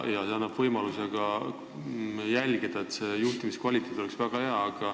See annab ka võimaluse jälgida, et koolide juhtimise kvaliteet oleks väga hea.